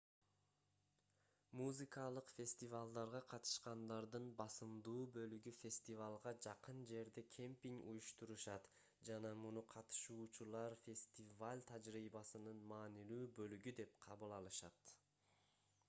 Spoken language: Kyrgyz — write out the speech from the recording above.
музыкалык фестивалдарга катышкандардын басымдуу бөлүгү фестивалга жакын жерде кемпинг уюштурушат жана муну катышуучулар фестиваль тажрыйбасынын маанилүү бөлүгү деп кабыл алышат